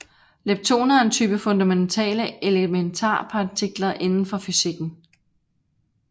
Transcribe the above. Leptoner er en type af fundamentale elementarpartikler inden for fysikken